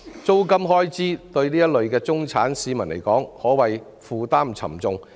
租金開支對此類中產市民而言，可謂負擔沉重。